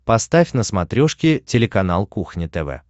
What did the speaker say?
поставь на смотрешке телеканал кухня тв